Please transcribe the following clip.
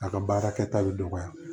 A ka baarakɛta bɛ dɔgɔya